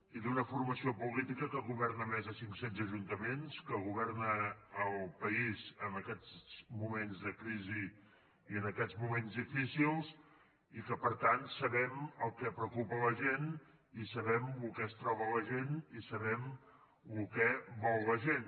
i d’una formació política que governa a més de cinccents ajuntaments que governa el país en aquests moments de crisi i en aquests moments difícils i que per tant sabem el que preocupa la gent i sabem el que es troba la gent i sabem el que vol la gent